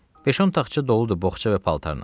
Beş-on taxça doludur boğça və paltarla.